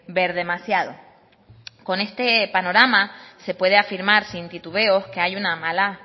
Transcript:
ver demasiado con este panorama se puede afirmar sin titubeo que hay una mala